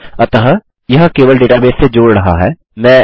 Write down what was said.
अतः यह केवल डेटाबेस से जोड़ रहा है